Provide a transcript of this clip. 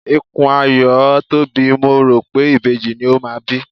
Ikùn Ayọ̀ tóbi, mo rò pé ìbejì ni ó máa bí.